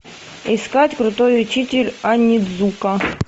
искать крутой учитель онидзука